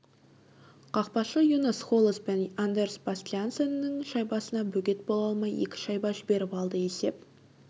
қақпашы юнас холес пен андерс бастиансеннің шайбасына бөгет бола алмай екі шайба жіберіп алды есеп